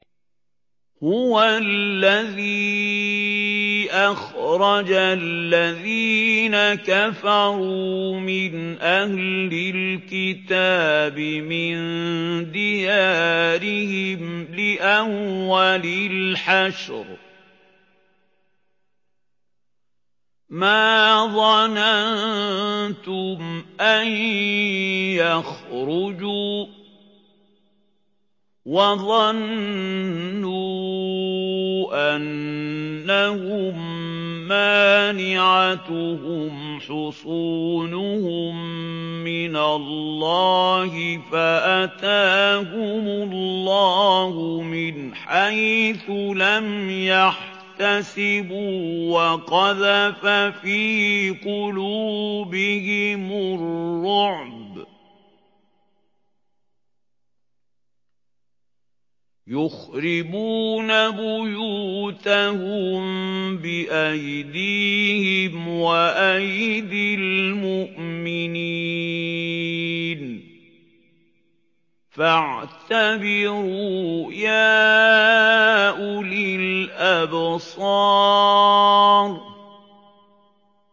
هُوَ الَّذِي أَخْرَجَ الَّذِينَ كَفَرُوا مِنْ أَهْلِ الْكِتَابِ مِن دِيَارِهِمْ لِأَوَّلِ الْحَشْرِ ۚ مَا ظَنَنتُمْ أَن يَخْرُجُوا ۖ وَظَنُّوا أَنَّهُم مَّانِعَتُهُمْ حُصُونُهُم مِّنَ اللَّهِ فَأَتَاهُمُ اللَّهُ مِنْ حَيْثُ لَمْ يَحْتَسِبُوا ۖ وَقَذَفَ فِي قُلُوبِهِمُ الرُّعْبَ ۚ يُخْرِبُونَ بُيُوتَهُم بِأَيْدِيهِمْ وَأَيْدِي الْمُؤْمِنِينَ فَاعْتَبِرُوا يَا أُولِي الْأَبْصَارِ